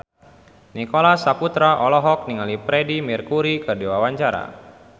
Nicholas Saputra olohok ningali Freedie Mercury keur diwawancara